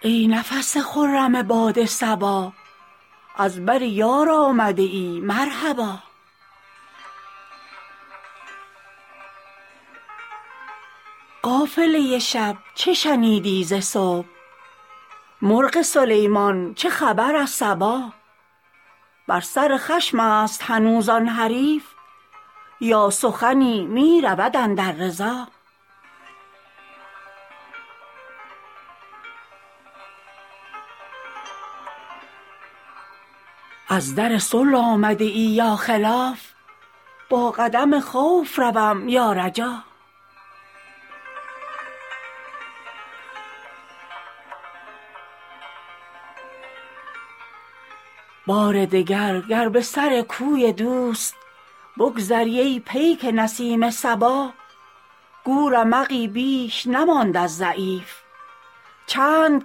ای نفس خرم باد صبا از بر یار آمده ای مرحبا قافله شب چه شنیدی ز صبح مرغ سلیمان چه خبر از سبا بر سر خشم است هنوز آن حریف یا سخنی می رود اندر رضا از در صلح آمده ای یا خلاف با قدم خوف روم یا رجا بار دگر گر به سر کوی دوست بگذری ای پیک نسیم صبا گو رمقی بیش نماند از ضعیف چند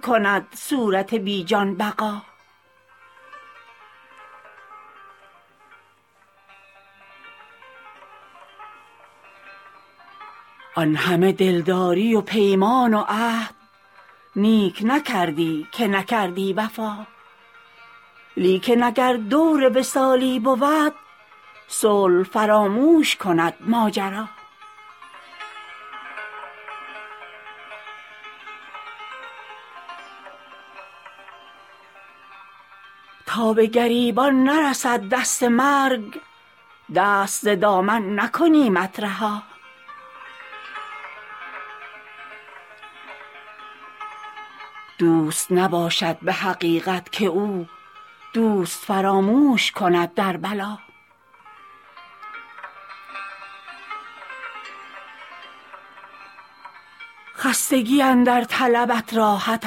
کند صورت بی جان بقا آن همه دلداری و پیمان و عهد نیک نکردی که نکردی وفا لیکن اگر دور وصالی بود صلح فراموش کند ماجرا تا به گریبان نرسد دست مرگ دست ز دامن نکنیمت رها دوست نباشد به حقیقت که او دوست فراموش کند در بلا خستگی اندر طلبت راحت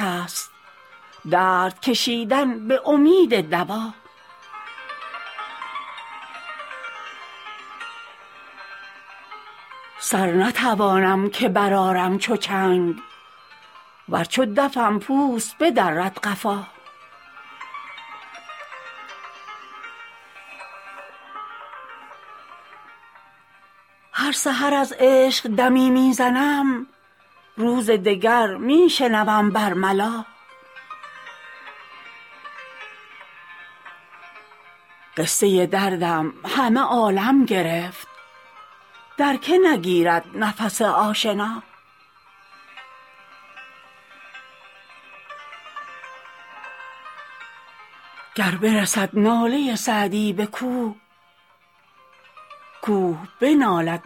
است درد کشیدن به امید دوا سر نتوانم که برآرم چو چنگ ور چو دفم پوست بدرد قفا هر سحر از عشق دمی می زنم روز دگر می شنوم بر ملا قصه دردم همه عالم گرفت در که نگیرد نفس آشنا گر برسد ناله سعدی به کوه کوه بنالد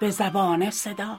به زبان صدا